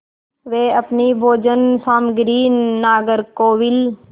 वे अपनी भोजन सामग्री नागरकोविल